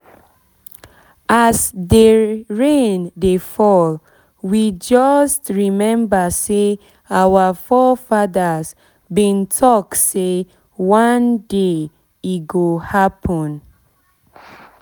as dey rain dey fall we just remember say our fore fathers been talk say one day e go happen